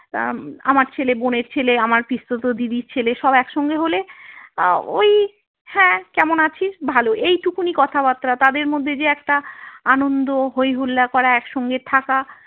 আমার ছেলে বোনের ছেলে আমার পিস্তত দিদির ছেলে সব একসঙ্গে হলে ওই হ্যাঁ কেমন আছিস ভালো এইটুকুনি কথাবার্তা তাদের মধ্যে যে একটা আনন্দ হইহুল্লার করা একসঙ্গে থাকা।